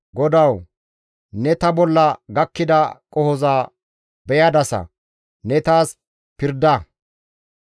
GODAWU! Ne ta bolla gakkida qohoza beyadasa; ne taas pirda.